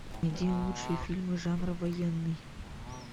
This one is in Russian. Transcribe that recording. найди лучшие фильмы жанра военный